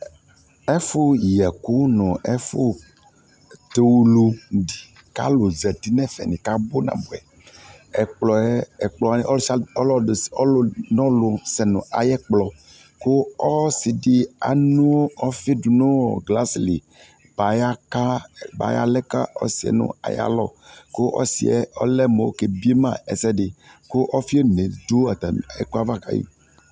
Ɛfʊ yɛku nu ɛfʊ tʊlu zati nu ɛfɛ kabʊ ɛkpɔ yɛ ɔlusialu sɛ nayɛkpɔ ɔsidi adu ofi nu ɣasli bayalɛ ka ɔsɩ aya lɔ ku ɔlɛ mu ɔsie kebiema ɛsɛdi